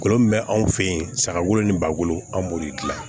Kolo min bɛ anw fɛ yen saga wolo ni balo an b'olu de dilan